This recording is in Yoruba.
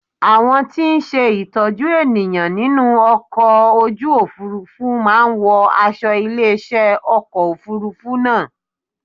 Àwọn tí ń ṣe ìtọ́jú ènìyàn nínú ọkọ̀ ojú Òfurufú máa ń wọ aṣo ilé iṣẹ́ ọkọ̀ Òfurufú náà.